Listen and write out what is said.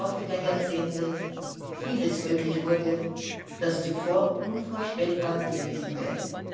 im Laufe der Jahrzehnte vieles möglich wurde, das zuvor unvorstellbar gewesen wäre.